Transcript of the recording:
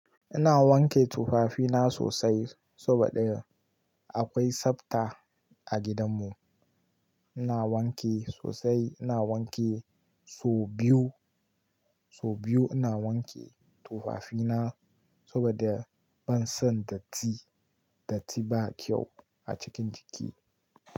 Ina wanke tufafina sosai saboda akwai sabta a gidanmu. Ina wanki sosai, ina wanki sau biyu, sau biyu ina wanke tufafina saboda ban son datti. Datti ba kyau a cikin jiki.